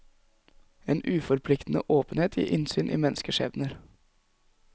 En uforpliktende åpenhet gir innsyn i menneskeskjebner.